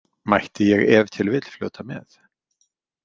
Mætti ég ef til vill fljóta með?